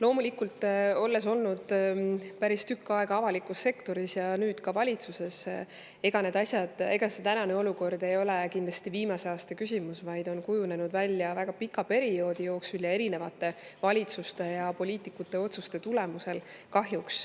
Olles olnud päris tükk aega avalikus sektoris ja nüüd ka valitsuses, ega see tänane olukord ei ole kindlasti viimase aasta küsimus, vaid see on kahjuks kujunenud välja väga pika perioodi jooksul erinevate valitsuste ja poliitikute otsuste tulemusel.